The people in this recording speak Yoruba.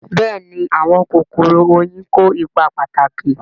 Bẹ́ẹ̀ni àwọn kòkòrò oyin kó ipa pàtàkì